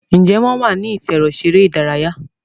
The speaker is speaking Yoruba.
Njé wón wá ní ìfẹ̀rọṣeré ìdárayá?